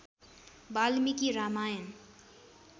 Valmiki Ramayana